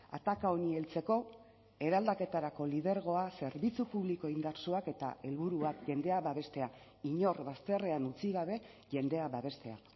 ataka honi heltzeko eraldaketarako lidergoa zerbitzu publiko indartsuak eta helburu bat jendea babestea inor bazterrean utzi gabe jendea babestea